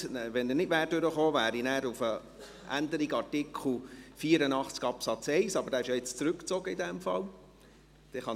Wenn dieser nicht durchgekommen wäre, wäre ich auf die Änderung des Artikels 84 Absatz 1 eingegangen, aber dieser Antrag wurde in dem Fall gerade zurückgezogen.